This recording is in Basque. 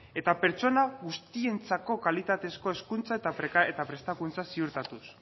eta pertsona guztientzako kalitatezko hezkuntza eta prestakuntza ziurtatuz